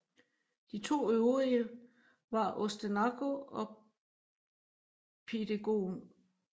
De to øvrige var Ostenaco og Pidegon